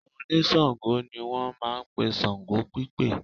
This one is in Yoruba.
Àwọn oníṣàngó ni wọ́n máa ń pe ṣàngó pípè